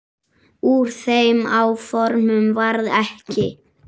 Úr þeim áformum varð ekki.